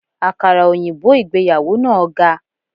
Àkàrà òyìnbó ìgbéyàwó náà ga.